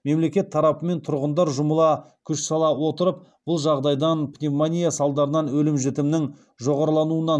мемлекет тарапы мен тұрғындар жұмыла күш сала отырып бұл жағдайдан пневмония салдарынан өлім жітімнің жоғарылауынан